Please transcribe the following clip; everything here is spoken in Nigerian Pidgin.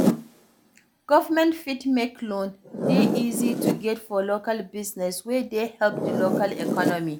Government fit make loan dey easy to get for local business wey dey help di local economy